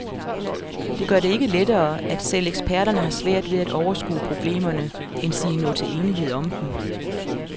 Det gør det ikke lettere, at selv eksperterne har svært ved at overskue problemerne, endsige nå til enighed om dem.